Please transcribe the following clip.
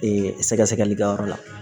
Ee sɛgɛsɛgɛlikɛyɔrɔ la